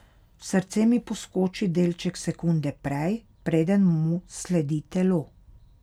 Srce mi poskoči delček sekunde prej, preden mu sledi telo.